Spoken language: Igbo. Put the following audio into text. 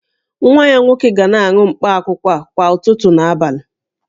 Nwa ya nwoke ga na-aṅụ mkpaakwụkwọ a kwa ụtụtụ na abalị